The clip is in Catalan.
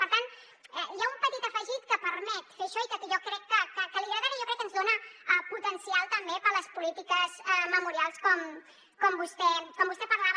per tant hi ha un petit afegit que permet fer això i que jo crec que li agradarà i jo crec que ens dona potencial també per a les polítiques memorials com vostè parlava